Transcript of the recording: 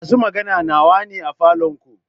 Masu magana nawa ne a falon ku?